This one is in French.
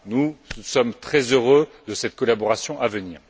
Nous sommes très heureux de cette collaboration à venir.